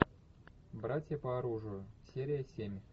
братья по оружию серия семь